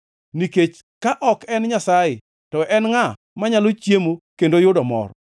Nikech ka ok en Nyasaye, to en ngʼa manyalo chiemo kendo yudo mor?